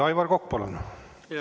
Aivar Kokk, palun!